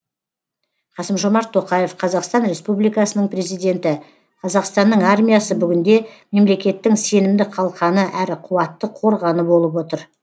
қасым жомарт тоқаев қазақстан республикасының президенті қазақстанның армиясы бүгінде мемлекеттің сенімді қалқаны әрі қуатты қорғаны болып отыр